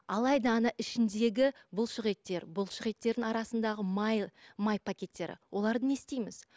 алайда ана ішіндегі бұлшық еттер бұлшық еттердің арасындағы майы май пакеттері оларды не істейміз